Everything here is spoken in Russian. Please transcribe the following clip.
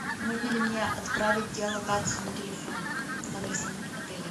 можно ли мне отправить геолокацию на телефон с адресом отеля